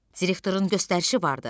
Direktorun göstərişi vardı.